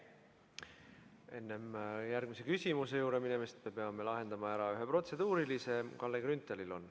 Enne järgmise küsimuse juurde minemist me peame lahendama ära ühe protseduurilise, mis on Kalle Grünthalil.